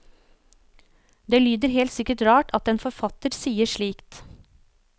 Det lyder helt sikkert rart at en forfatter sier slikt.